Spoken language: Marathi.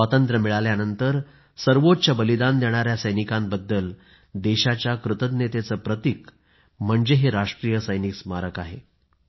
स्वातंत्र्य मिळाल्यानंतर सर्वोच्च बलिदान देणाया सैनिकांबद्दल देशाच्या कृतज्ञतेचं प्रतीक म्हणजे हे राष्ट्रीय सैनिक स्मारक आहे